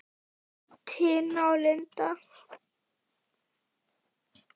Tina og Linda.